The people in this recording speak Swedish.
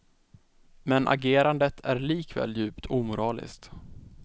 Men agerandet är likväl djupt omoraliskt.